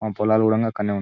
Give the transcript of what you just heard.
ఆ పొలాలు కూడా --